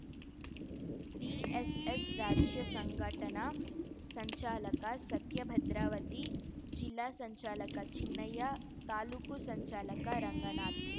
DSS ರಾಜ್ಯ ಸಂಘಟನಾ ಸಂಚಾಲಕ ಸತ್ಯ ಭದ್ರಾವತಿ ಜಿಲ್ಲಾ ಸಂಚಾಲಕ ಚಿನ್ನಯ್ಯ ತಾಲೂಕು ಸಂಚಾಲಕ ರಂಗನಾಥ್‌